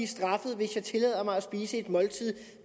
straffet hvis jeg tillader mig at spise et måltid